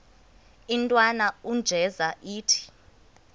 intwana unjeza ithi